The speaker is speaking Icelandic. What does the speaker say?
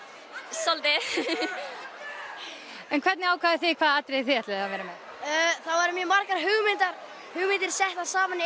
svolítið en hvernig ákváðuð þið hvaða atriði þið ætluðuð að vera með það voru margar hugmyndir hugmyndir settar saman í